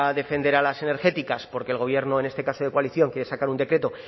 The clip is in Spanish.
defender a las energéticas porque el gobierno en este caso de coalición quiere sacar un decreto